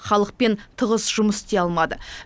халықпен тығыз жұмыс істей алмады